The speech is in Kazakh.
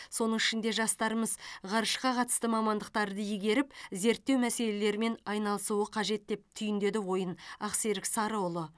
соның ішінде жастарымыз ғарышқа қатысты мамандықтарды игеріп зерттеу мәселелерімен айналысуы қажет деп түйіндеді ойын ақсерік сарыұлы